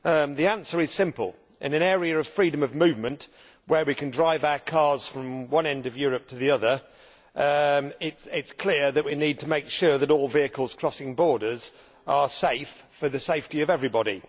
The answer is simple in an area of freedom of movement, where we can drive our cars from one end of Europe to the other, it is clear that we need to make sure that all vehicles crossing borders are safe, for the safety of everybody.